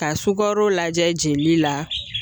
Ka sugaro lajɛ jeli la